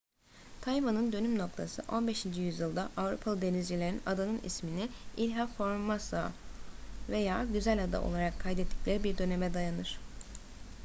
tayvan'ın dönüm noktası 15. yüzyılda avrupalı denizcilerin adanın ismini ilha formosa veya güzel ada olarak kaydettikleri bir döneme dayanır